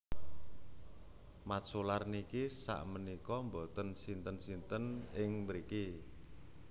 Mat Solar niki sak menika mboten sinten sinten ing mriki